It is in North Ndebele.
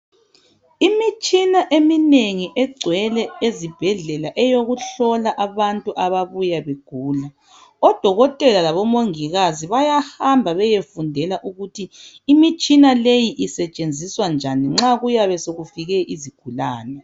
Imitshina eminengi egcwele ezibhedlela eyokuhlola abantu ababuya begula. Odokotela labomongikazi bayahamba bayefundela ukuthi imitshina leyi isetshenziswa njani nxa kuyabe sekufike isigulane.